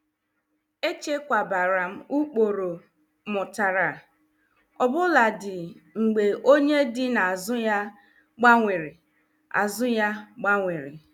Echekwabara m ụkpụrụ mụtara, obuladi mgbe onye dị n' azụ ya gbanwere. azụ ya gbanwere.